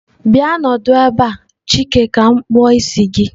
Bia nọdụ ebe a! chike ka m kpuo isi gi.